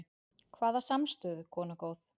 Hvaða samstöðu, kona góð?